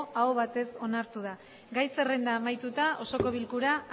aho batez onartu da gai zerrenda amaituta osoko bilkura